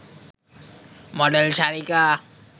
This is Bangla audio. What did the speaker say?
মডেল সারিকা